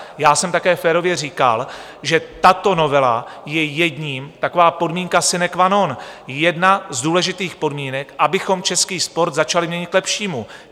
Já jsem také férově říkal, že tato novela je jedním... taková podmínka sine qua non, jedna z důležitých podmínek, abychom český sport začali měnit k lepšímu.